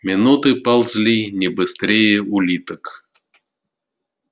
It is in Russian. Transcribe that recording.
минуты ползли не быстрее улиток